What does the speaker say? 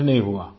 कुछ नहीं हुआ